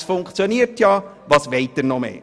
Es funktioniert ja, was wollen Sie mehr?